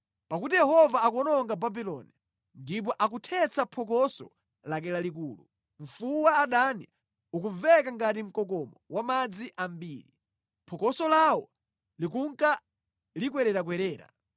Pakuti Yehova akuwononga Babuloni, ndipo akuthetsa phokoso lake lalikulu. Mfuwu wa adani ukumveka ngati mkokomo wa madzi ambiri. Phokoso lawo likunka likwererakwerera.